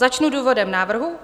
Začnu důvodem návrhu.